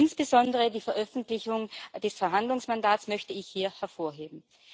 Insbesondere die Veröffentlichung des Verhandlungsmandats möchte ich hier hervorheben.